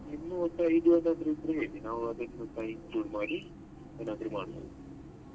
ನಿಮ್ಮ ಒಂದು ಇದ್ರೂ ಹೇಳಿ ನಾವ್ ಅದಕ್ಕೆ ಏನಾದ್ರು ಮಾಡ್ಬೋದು.